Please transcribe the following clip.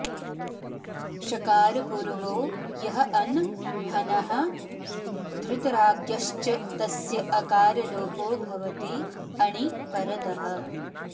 षकारपूर्वो यः अन् हनः धृतराज्ञश्च तस्य अकारलोपो भवति अणि परतः